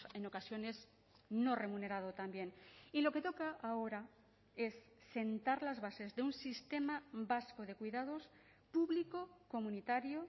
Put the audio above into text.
en ocasiones no remunerado también y lo que toca ahora es sentar las bases de un sistema vasco de cuidados público comunitario